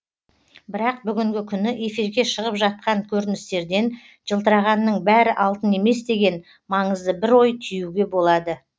бірақ бүгінгі күні эфирге шығып жатқан көріністерден жылтырағанның бәрі алтын емес деген маңызды бір ой түюге болады